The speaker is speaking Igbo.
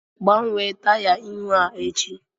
Gbanwee taya ihu a echi!